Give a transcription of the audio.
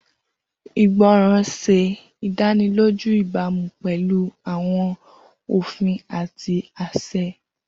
Igbọran ṣe idaniloju ibamu pẹlu awọn ofin ati aṣẹ.